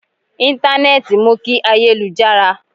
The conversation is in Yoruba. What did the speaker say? Intanẹẹti mú kí ayé lu jára